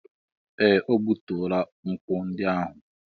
Ee! O gbutuola nkwụ ndị ahụ.